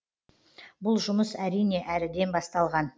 бұл жұмыс әрине әріден басталған